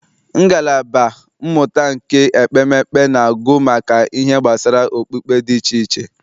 Ngalaba mmụta nke ekpemekpe na-agụ ihe gbasara okpukpe dị iche iche.